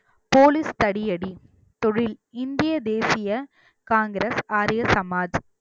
police தடியடி தொழில் இந்திய தேசிய காங்கிரஸ் ஆரிய சமாஜ்